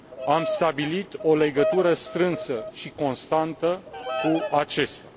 Am stabilit o legătură strânsă și constantă cu acesta.